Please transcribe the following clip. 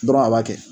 Dɔrɔn a b'a kɛ